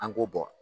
An k'o bɔ